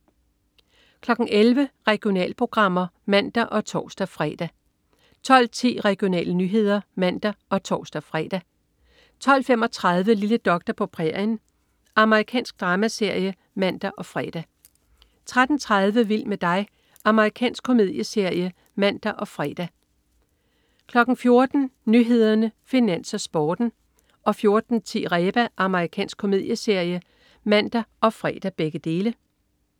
11.00 Regionalprogrammer (man og tors-fre) 12.10 Regionale nyheder (man og tors-fre) 12.35 Lille doktor på prærien. Amerikansk dramaserie (man og fre) 13.30 Vild med dig. Amerikansk komedieserie (man og fre) 14.00 Nyhederne, Finans, Sporten (man og fre) 14.10 Reba. Amerikansk komedieserie (man og fre)